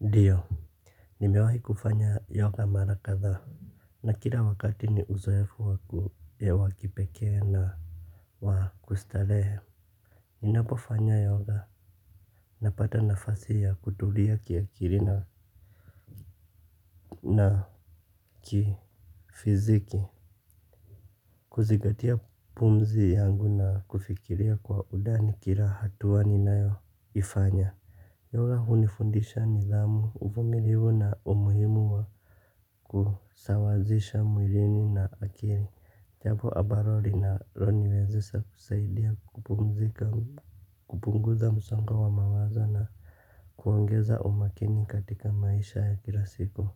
Ndio. Nimewahi kufanya yoga mara kadhaa na kila wakati ni uzoefu wa kipekee na wa kustarehe. Ninapofanya yoga napata nafasi ya kutulia kiakili na kifiziki. Kuzingatia pumzi yangu na kufikiria kwa undani kila hatua ninayo ifanya. Yoga hunifundisha nidhamu, uvumilivu na umuhimu wa kusawazisha mwilini na akili. Jambo ambalo linaniwezesha kusaidia kupumzika, kupunguza msongo wa mawazo na kuongeza umakini katika maisha ya kila siku.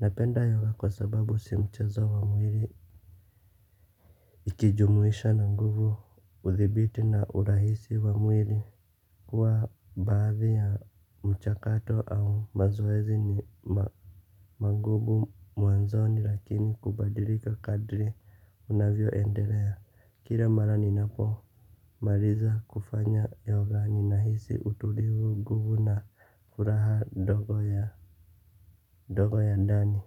Napenda yoga kwa sababu si mchezo wa mwili. Ukijumuisha na nguvu, uthibiti na urahisi wa mwili huwa baadhi ya mchakato au mazoezi ni mangumu mwanzoni lakini hubadilika kadri unavyo endelea. Kila mara ninapo, maliza kufanya yoga ninahisi utulivu nguvu na furaha ndogo ya ndani.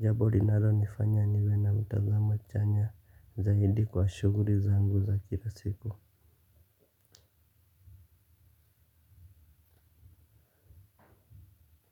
Jambo linalo nifanya niwe na utazama chanya zaidi kwa shughuli zangu za kila siku.